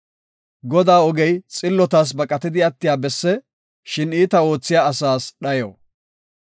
Godaa ogey xillotas baqatidi attiya besse; shin iita oothiya asaas dhayo.